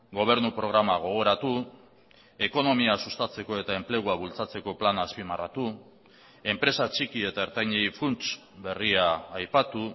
gobernu programa gogoratu ekonomia sustatzeko eta enplegua bultzatzeko plana azpimarratu enpresa txiki eta ertainei funts berria aipatu